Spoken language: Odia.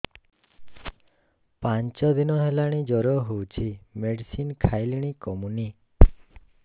ପାଞ୍ଚ ଦିନ ହେଲାଣି ଜର ହଉଚି ମେଡିସିନ ଖାଇଲିଣି କମୁନି